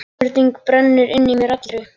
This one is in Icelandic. Spurning brennur inn í mér allri.